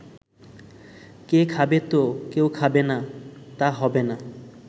কেউ খাবে তো, কেউ খাবে না, তা হবে না।